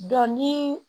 Dɔn ni